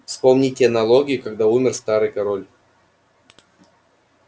вспомните налоги когда умер старый король